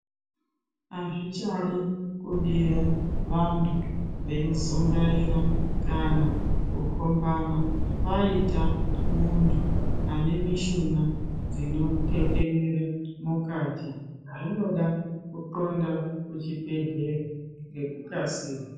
Azvichadi kubira vantu vei zungaira kana kukombana paita muntu ane mishuna dzino teterera mukati zvinoda ku ndxonda kuchi bhedhlera ngeku kasira.